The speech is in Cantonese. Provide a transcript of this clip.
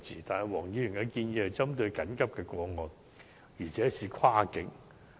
但是，黃議員的建議針對緊急的個案，而且要跨境。